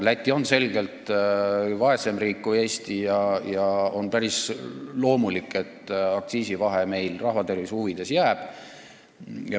Läti on selgelt vaesem riik kui Eesti ja on päris loomulik, et alkoholiaktsiisi vahe rahva tervise huvides jääb.